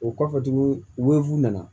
O kɔfɛ tuguni u nana